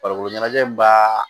Farikolo ɲɛnajɛ b'a